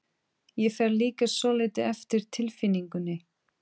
Ég fer líka svolítið eftir tilfinningunni.